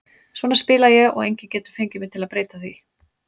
Svona spila ég og enginn getur fengið mig til að breyta því.